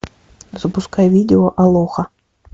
запускай видео алоха